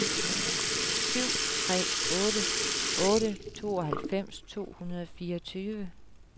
syv tre otte otte tooghalvfems to hundrede og fireogtyve